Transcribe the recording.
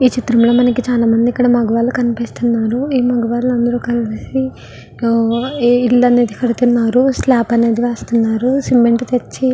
ఈ చిత్రంలో మనకి ఇక్కడ చాలామంది మగవారు కనిపిస్తున్నారు. ఈ మగవారందరూ కలిసి పిల్లర్ అనేది కడుతున్నారు. స్లాబ్ అనేది వేస్తున్నారు. సిమెంటు తెచ్చి --